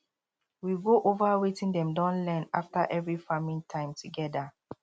we go over wetin dem don learn after every farming time together